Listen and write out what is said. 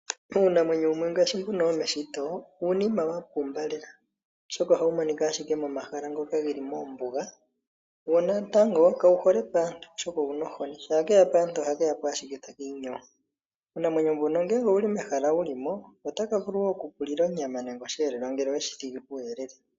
Uunamwenyo wumwe ngaashi mbuno womeshito, uunima wa pumba lela oshoka ohawu monikwa ashike momahala ngoka ge li mombuga. Wo natango kawu hole paantu oshoka owuna ohoni, shampa keya paantu ohake ya po ashike taka inyowo. Uunamwenyo mbuno ngele owuli mehala wuli mo otaka vulu wo oku ku lila onyama nenge oshiyelewa ngele oweshi thigi puuyelele.